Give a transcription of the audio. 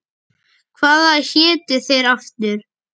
Hvað hétu þeir aftur?